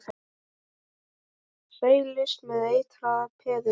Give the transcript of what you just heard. Seilist eftir eitraða peðinu.